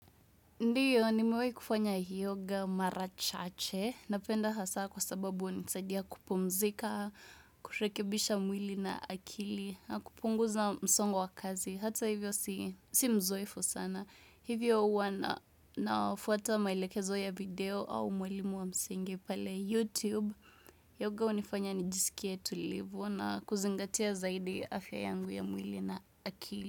Ndio, nimewahi kufanya yoga mara chache. Napenda hasa kwa sababu hunisaidia kupumzika, kurekebisha mwili na akili, na kupunguza msongo wa kazi. Hata hivyo si mzoefu sana. Hivyo huwa na nafuata maelekezo ya video au mwalimu wa msingi pale YouTube. Yoga unifanya nijisikie tulivu na kuzingatia zaidi afya yangu ya mwili na akili.